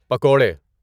پکوڑے